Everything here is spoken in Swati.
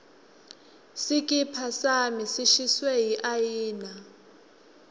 sikipa sami sishiswe yiayina